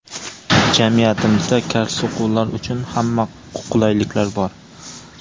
Jamiyatimizda kar-soqovlar uchun hamma qulayliklar bor.